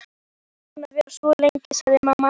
Gissur þagnaði, saup af könnunni og dæsti.